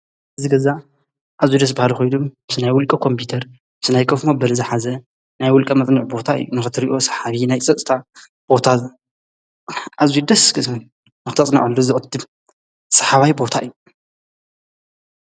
ዝ ገዛ ዓዙይ ደስ በሃል ኾይዱ ምስ ናይ ውሊቀ ኾምጵተር ምስ ናይ ከፍ ሞ በለዝኃዘ ናይ ውልቃ መጥኒዕ ቦታ እዩ ንኽትሪእዮ ሰሓቢ ናይ ጸጽታ ቦታዝ ኣዙይ ደስክምን ኣኽተጽናዖሉ ዝቕትብ ሰሓባይ ቦታ እዩ።